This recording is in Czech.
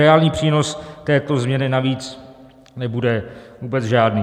Reálný přínos této změny navíc nebude vůbec žádný.